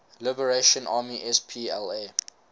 liberation army spla